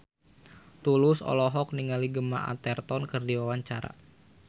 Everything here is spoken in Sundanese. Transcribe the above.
Tulus olohok ningali Gemma Arterton keur diwawancara